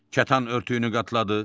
Kətan örtüyünü qatladı.